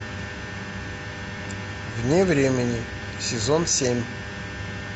вне времени сезон семь